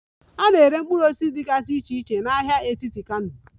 A na-ere mkpụrụ osisi dịgasị iche iche na ahịa etiti Kano